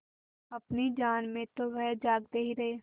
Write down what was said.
अपनी जान में तो वह जागते ही रहे